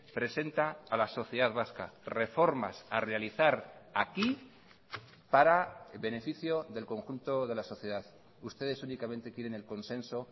presenta a la sociedad vasca reformas a realizar aquí para beneficio del conjunto de la sociedad ustedes únicamente quieren el consenso